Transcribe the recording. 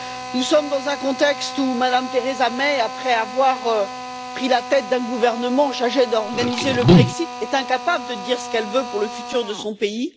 Nous sommes dans un contexte où Mme Theresa May, après avoir pris la tête d'un gouvernement chargé d'organiser le Brexit, est incapable de dire ce qu'elle veut pour le futur de son pays.